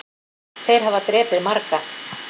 Þeir hafa drepið marga